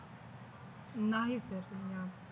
नाही कल्पना